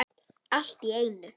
Allt í einu.